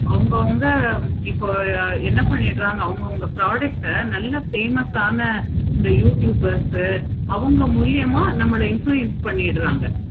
அவங்க அவங்க இப்போ என்ன பண்ணிட்டு இருக்காங்க அவங்க அவங்க product ஆஹ் நல்ல famous ஆனா youtubers ஆனா அவங்க மூலியம நம்மள influence பண்ணிடுறாங்க.